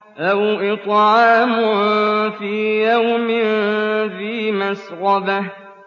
أَوْ إِطْعَامٌ فِي يَوْمٍ ذِي مَسْغَبَةٍ